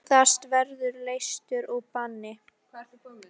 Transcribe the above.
Iðrast og verða leystur úr banni.